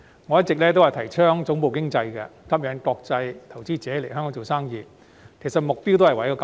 我一直提倡發展總部經濟，吸引國際投資者來港做生意，目標其實亦正在於此。